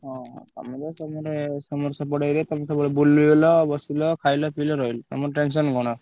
ହଁ ଆମର ତମର ସେପଟେ area ତମେ ସବୁବେଳେ ବୁଲିଲ, ବସିଲ, ଖାଇଲ, ପିଇଲ, ରହିଲ। ତମର tension କଣ।